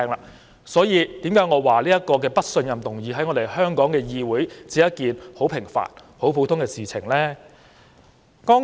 此所以我說在香港議會，"不信任"議案只是很平凡和普通的事情。